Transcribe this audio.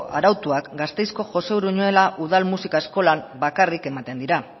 arautuak gasteizko josé uruñuela udal musika eskolan bakarrik ematen dira